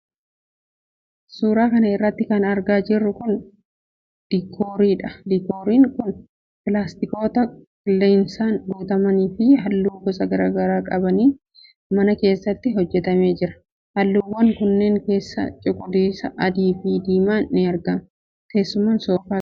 Suura kana irratti kan argaa jirru kun, diikooriidha. Diikoorin kun, pilaastikoota qilleensaan guutaman fi haalluu gosa garaa garaa qabaniin mana keessatti hojjatamee jira. Haalluuwwan kanneen keessaa cuquliisa, adii fi diimaan ni argamu. Teessumni soofaas ni jira.